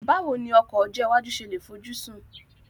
Báwo ni ọkọ̀ ọjọ́ iwájú ṣe lè fojúsùn